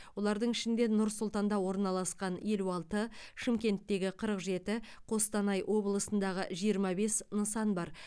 олардың ішінде нұр сұлтанда орналасқан елу алты шымкенттегі қырық жеті қостанай облысындағы жиырма бес нысан бар